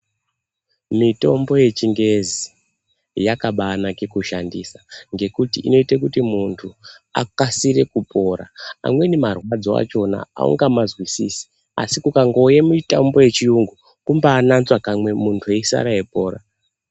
Mitombo yechingezi yakabanaka kushandisa ngekuti inoite kuti munhu akasire kupora amweni marwadzo achona aungamazwisisi asi ukangouye mumitombo yechiyungu kubananzve/nambura kamwe munhu eisare eipora.